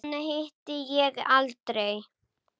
Hana hitti ég aldrei.